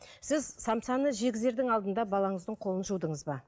сіз самсаны жегізердің алдында баланыздың қолын жудыңыз ба